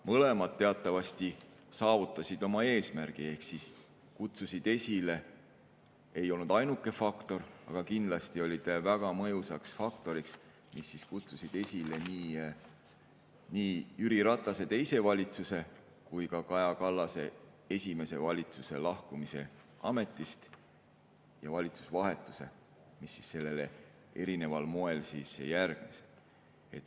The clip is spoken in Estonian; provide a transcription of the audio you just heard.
Mõlemad teatavasti saavutasid oma eesmärgi ehk kutsusid esile – see ei olnud ainuke faktor, aga kindlasti väga mõjus faktor – nii Jüri Ratase teise valitsuse kui ka Kaja Kallase esimese valitsuse lahkumise ametist ja valitsusvahetuse, mis sellele erineval moel järgnes.